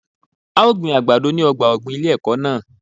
A ó gbin àgbàdo ní ọgbà ọ̀gbìn ilé ẹ̀kọ́ náà.